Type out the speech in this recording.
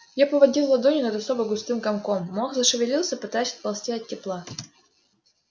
я поводил ладонью над особо густым комком мох зашевелился пытаясь отползти от тепла